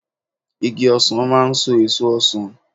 Igi ọsàn máa ń so èso ọsàn